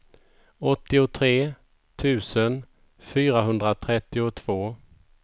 åttiotre tusen fyrahundratrettiotvå